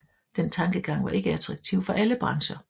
Den tankegang var ikke attraktiv for alle brancher